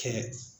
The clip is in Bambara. Kɛ